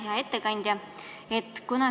Hea ettekandja!